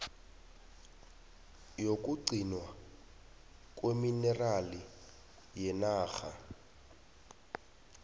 yokugcinwa kweminerali nenarha